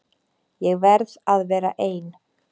Ég verð að vera ein.